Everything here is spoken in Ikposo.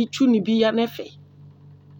itsu ni bi yanʋ ɛfɛ